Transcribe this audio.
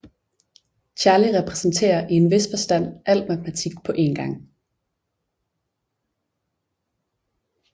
Charlie repræsenterer i en vis forstand al matematik på en gang